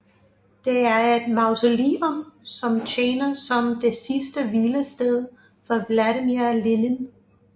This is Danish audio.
Det er et mausoleum som tjener som det sidste hvilested for Vladimir Lenin